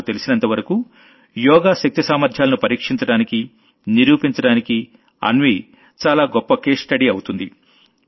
నాకు తెలిసినంతవరకూ యోగా శక్తి సామర్ధ్యాలను పరీక్షించడానికి నిరూపించడానికి అన్వీ చాలా గొప్ప కేస్ స్టడీ అవుతుంది